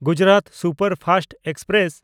Gujarat superfast express